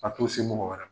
A t'o se mɔgɔ wɛrɛ ma